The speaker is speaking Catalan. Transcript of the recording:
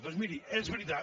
doncs miri és veritat